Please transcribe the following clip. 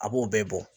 A b'o bɛɛ bɔ